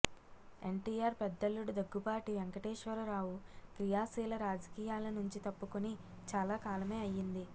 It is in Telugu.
ఎన్టీఆర్ పెద్దల్లుడు దగ్గుబాటి వెంకటేశ్వరరావు క్రియాశీల రాజకీయాల నుంచి తప్పుకుని చాలా కాలమే అయ్యింది